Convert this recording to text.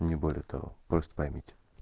не более того просто поймите